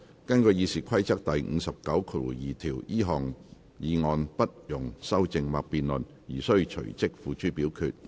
根據《議事規則》第592條，這項議案不容修正或辯論而須隨即付諸表決。